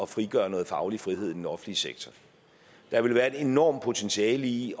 frigøre noget faglig frihed i den offentlige sektor der ville være et enormt potentiale i